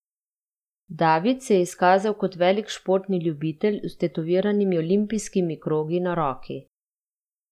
David se je izkazal kot velik športni ljubitelj z vtetoviranimi olimpijskimi krogi na roki.